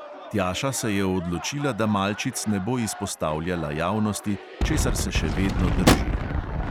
Tjaša se je odločila, da malčic ne bo izpostavljala javnosti, česar se še vedno drži.